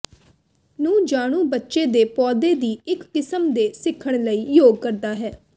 ਨੂੰ ਜਾਣੂ ਬੱਚੇ ਦੇ ਪੌਦੇ ਦੀ ਇੱਕ ਕਿਸਮ ਦੇ ਸਿੱਖਣ ਲਈ ਯੋਗ ਕਰਦਾ ਹੈ